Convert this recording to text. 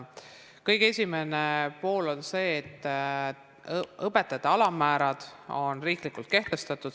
Kõige esimene pool on see, et õpetajate alammäärad on riiklikult kehtestatud.